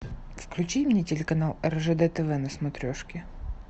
включи мне телеканал ржд тв на смотрешке